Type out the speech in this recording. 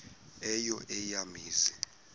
eyo eya mizi